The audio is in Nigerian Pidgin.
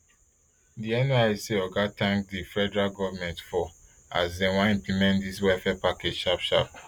di nysc oga tank di federal goment for as dem wan implement dis welfare package sharp sharp